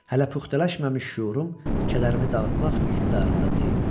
Hələ puxtələşməmiş şüurum kədərimi dağıtmaq iqtidarında deyildi.